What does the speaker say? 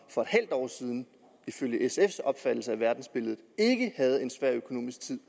for et halvt år siden ifølge sfs opfattelse af verdensbilledet havde en svær økonomisk tid